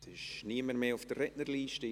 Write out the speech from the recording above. Es ist niemand mehr auf der Rednerliste.